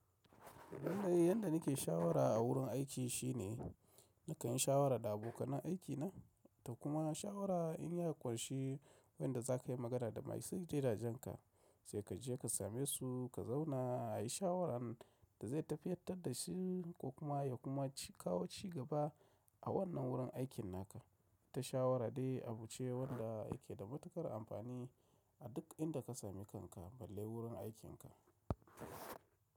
Yandai yanda nake shawara a wurin aiki shine nakan yi shawara da abokanen aiki na to kuma shawara in ya ƙunshi wanda za ka yi magana da masu gidajen ka sai ka je ka same su ka zauna a yi shawaran da zai tafiyartar da shi ko kuma ya kuma kawo cigaba a wannan wurin aikin naka. Ta shawara dai abu ce wanda yake da matuƙar amfani a duk inda ka sami kanka balle wurin aikinka.